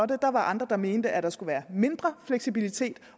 det der var andre der mente at der skulle være mindre fleksibilitet